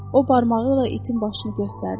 O barmağı ilə itin başını göstərdi.